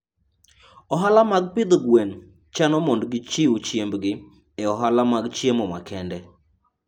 Ohala mag pidho gwen chano mondo gichiw chiembgi e ohala mag chiemo makende.